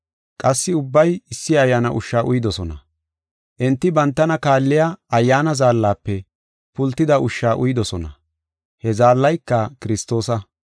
Qassi ubbay issi ayyaana ushsha uyidosona. Enti bantana kaalliya ayyaana zaallafe pultida ushsha uyidosona; he zaallayka Kiristoosa.